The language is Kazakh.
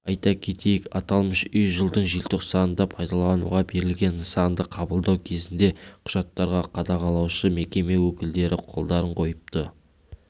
айта кетейік аталмыш үй жылдың желтоқсанында пайдалануға берілген нысанды қабылдау кезінде құжаттарға қадағалаушы мекеме өкілдеріқолдарын қойыпты